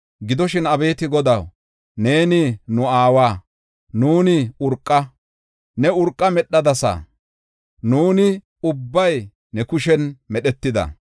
Gidoshin, abeeti Godaw, neeni nu aawa; nuuni urqa; ne urqa medhadasa; nuuni ubbay ne kushen medhetida.